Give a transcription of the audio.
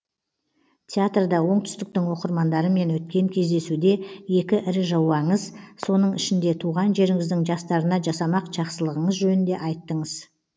театрда оңтүстіктің оқырмандарымен өткен кездесуде екі ірі жобаңыз соның ішінде туған жеріңіздің жастарына жасамақ жақсылығыңыз жөнінде айттыңыз